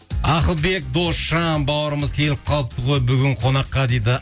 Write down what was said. ақылбек досжан бауырымыз келіп қалыпты ғой бүгін қонаққа дейді